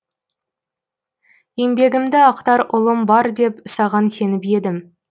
еңбегімді ақтар ұлым бар деп саған сеніп едім